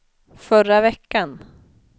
förra veckan